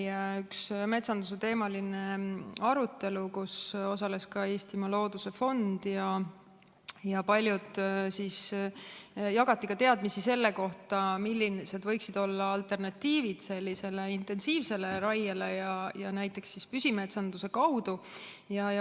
Eile oli üks metsandusteemaline arutelu, kus osales ka Eestimaa Looduse Fond, ja jagati teadmisi ka selle kohta, millised võiksid olla alternatiivid sellisele intensiivsele raiele, näiteks püsimetsanduse kaudu.